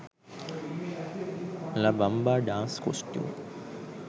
la bamba dance costume